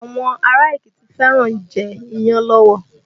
Àwọn ará Èkìtì fẹ́ràn ń jẹ́ iyán lọ́wọ́